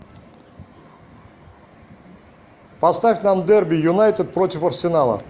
поставь нам дерби юнайтед против арсенала